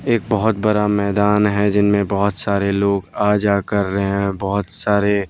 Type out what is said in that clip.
एक बहोत बड़ा मैदान है जिनमें बहोत सारे लोग आ जा कर रहे हैं बहोत सारे--